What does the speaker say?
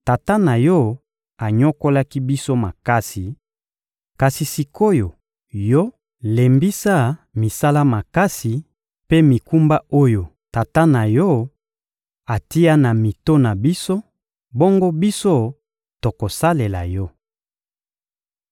— Tata na yo anyokolaki biso makasi; kasi sik’oyo, yo, lembisa misala makasi mpe mikumba oyo tata na yo atia na mito na biso; bongo biso, tokosalela yo.